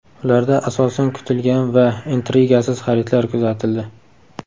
Ularda asosan kutilgan va intrigasiz xaridlar kuzatildi.